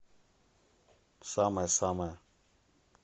самая самая